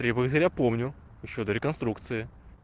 три богатыря помню ещё до реконструкции